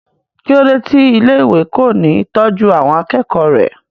kí ló dé tí ilé ìwé kò ní tọ́jú àwọn akẹ́kọ̀ọ́ rẹ̀?